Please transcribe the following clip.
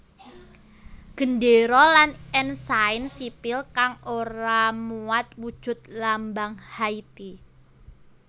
Gendéra lan ensain sipil kang ora muat wujud lambang Haiti